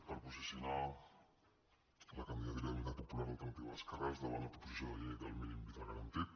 per posicionar la candidatura d’unitat popular alternativa d’esquerres davant la proposició de llei del mínim vital garantit